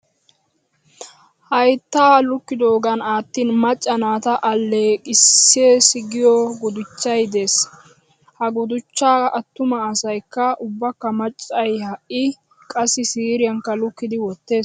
Hayittaa lukkidoogan aattin macca naata alleqisses giyo gudichchay des. Ha gudichchaa attuma asayikka ubbakka maccay ha'i qassi siiriyaakka lukkidi wottees.